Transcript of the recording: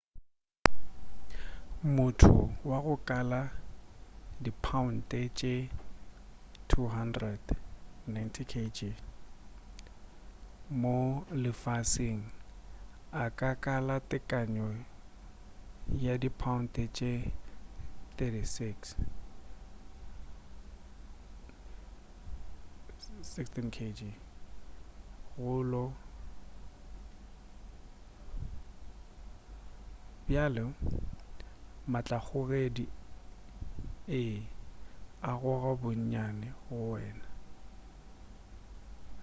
motho wa go kala dipaounte tše 200 90kg mo lefaseng a ka kala tekano ya dipaounte tše 36 16kg go lo. bjale matlakgogedi ee a goga bonnyane go wena